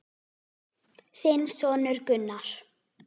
Þinn sonur Gunnar.